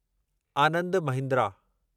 Anand Mahindra